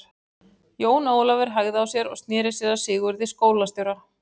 Jón Ólafur hægði á sér og sneri sér að Sigurði skólastjóra.